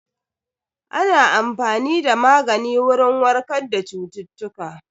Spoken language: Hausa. Ana amfani da magani wurin warkar da cututtuka